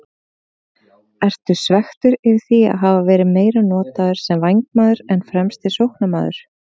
Ertu svekktur yfir því að hafa verið meira notaður sem vængmaður en fremsti sóknarmaður?